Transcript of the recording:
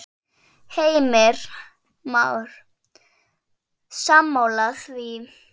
Heimir Már: Sammála því?